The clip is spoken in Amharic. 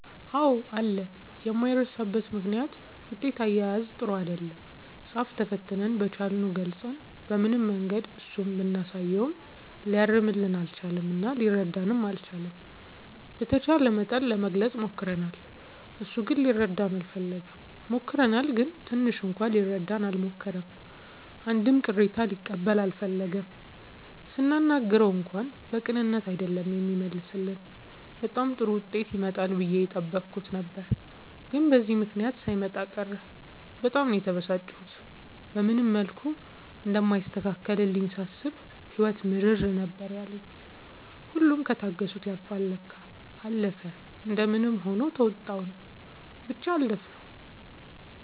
አዎ አለ የማይረሳበት ምክንያት ውጤት አያያዝ ጥሩ አይደለም ፃፍ ተፈትነን በቻልነው ገልፀን በምንም መንገድ እሱ ብናሳየውም ሊያርምልን አልቻለም እና ሊረዳንም አልቻለም። በተቻለ መጠን ለመግለፅ ሞክርናል እሱ ግን ሊረዳን አልፈለገም። ሞክረናል ግን ትንሽ እንኳን ሊረዳን አልሞከረም አንድም ቅሬታ ሊቀበል አልፈለገም ስናናግረው እንኳን በቅንነት አይደለም የሚመልስልን በጣም ጥሩ ዉጤት ይመጣል ብዬ የጠበኩት ነበር ግን በዚህ ምክንያት ሳይመጣ ቀረ በጣም ነው የተበሳጨሁት። በምንም መልኩ እንደማይስተካከልልኝ ሳስብ ህይወት ምርር ነበር ያለኝ ሁሉም ከታገሱት ያልፍል ለካ። አለፈ እንደምንም ሆኖ ተዉጣንው ብቻ አለፍነው።